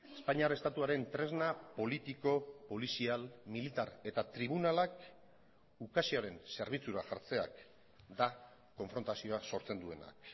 espainiar estatuaren tresna politiko polizial militar eta tribunalak ukazioaren zerbitzura jartzeak da konfrontazioa sortzen duenak